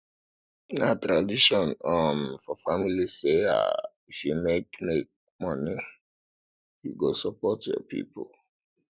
na tradition um for family say um if you make money you go support your people